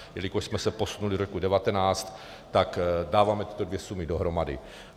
Jelikož jsme se posunuli do roku 2019, tak dáváme tyto dvě sumy dohromady.